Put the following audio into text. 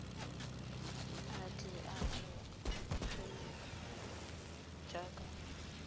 a tle a amogelwe jaaka